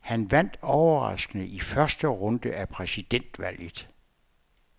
Han vandt overraskende i første runde af præsidentvalget.